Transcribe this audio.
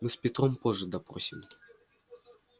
мы с петром позже допросим